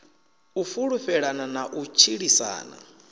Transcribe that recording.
u fhulufhelana na u tshilisana